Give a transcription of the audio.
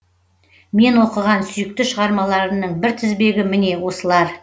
мен оқыған сүйікті шығармаларымның бір тізбегі міне осылар